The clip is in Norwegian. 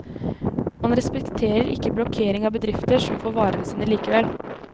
Man respekterer ikke blokkering av bedrifter, som får varene sine likevel.